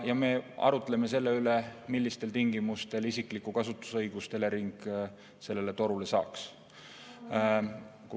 Ja me arutleme selle üle, millistel tingimustel isiklikku kasutusõigust Elering sellele torule saaks.